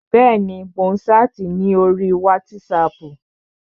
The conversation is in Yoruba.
Bẹ́ẹ̀ni, mò ń ṣáàtì ní orí wátísapù